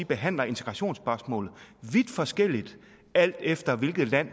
behandler integrationsspørgsmålet vidt forskelligt alt efter hvilket land